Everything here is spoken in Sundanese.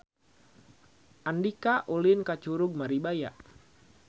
Andika ulin ka Curug Maribaya